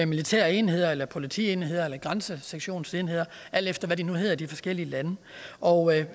militære enheder politienheder eller grænsesektionsenheder alt efter hvad de nu hedder i de forskellige lande og